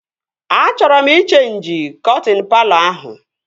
Achọọ m ị cheenji kọtịn palọ ahụ